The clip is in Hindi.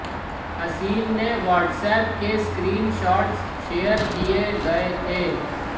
हसीन ने वाट्सऐप के स्क्रीन शॉट्स शेयर किए गए थे